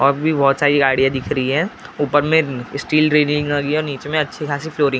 और भी बहुत सारी गाड़ियां दिख रही हैं ऊपर में स्टील और नीचे मैं अच्छी खासी फ्लोरिंग ।